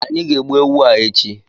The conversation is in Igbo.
Anyị ga egbu ewu a echi